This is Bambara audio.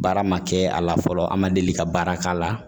Baara ma kɛ a la fɔlɔ an ma deli ka baara k'a la